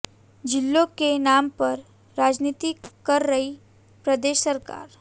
जिलों के नाम पर राजनीति कर रही प्रदेश सरकार